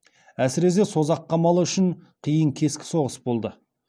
әсіресе созақ қамалы үшін қиын кескі соғыс болды